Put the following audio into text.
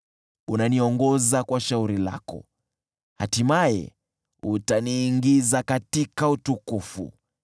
Unaniongoza kwa shauri lako, hatimaye utaniingiza katika utukufu.